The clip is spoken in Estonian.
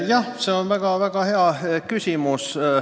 Jah, see on väga hea küsimus.